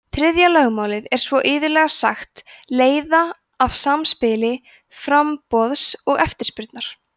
þriðja lögmálið er svo iðulega sagt leiða af samspili framboðs og eftirspurnar